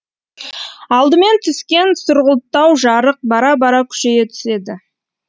алдымен түскен сұрғұлттау жарық бара бара күшейе түседі